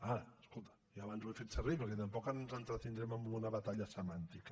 ara escolta jo abans ho he fet servir perquè tampoc ens entretindrem amb una batalla semàntica